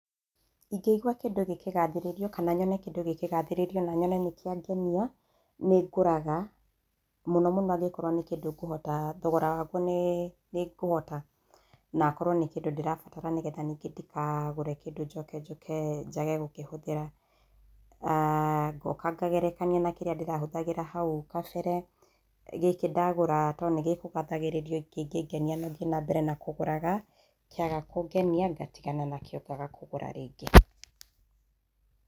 Ingĩigua kĩndũ gĩkĩgathĩrĩrio kana nyone kĩndũ gĩkĩgathĩrĩrio na nyone nĩkĩangenia, nĩ ngũraga. Mũno mũno angĩkorwo nĩ kĩndũ ngohata, thogora waguo nĩ ngũhota, na akorwo nĩ kindũ ndĩrabatara nĩgetha ningĩ ndikagũre kĩndũ njoke njũke, njage gũkĩhũthĩra. Ngoka ngagerekania na kĩrĩa ndĩrahũthagĩra hau kabere, gĩkĩ ndagũra to nĩgĩkũgathagĩrĩrio kingĩngenia no thiĩ nambere kũgũraga, kĩaga kũngenia, ngatigana nakĩo, ngaaga kũgũra rĩngĩ.